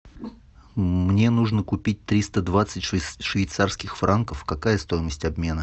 мне нужно купить триста двадцать швейцарских франков какая стоимость обмена